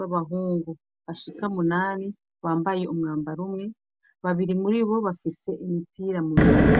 wabahungu bashika munani bambaye umwambaro umwe babiri muri bo bafise imipira muminwe.